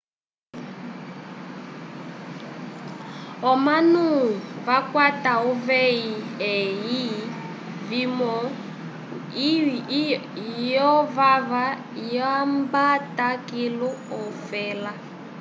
omanu vakwata uvehi lye fwimo lyo vava ilyambata kilu ofela